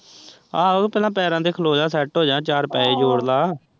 ਆਹੋ ਤੇ ਪਹਿਲਾਂ ਪੈਰਾਂ ਤੇ ਖਲੋ ਜਾ ਸੈੱਟ ਹੋ ਜਾ ਚਾਰ ਪੈਹੇ ਜੋੜ ਲੈ।